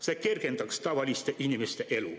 See kergendaks tavaliste inimeste elu.